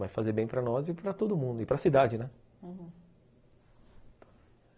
Vai fazer bem para nós e para todo mundo, e para cidade, né? uhum.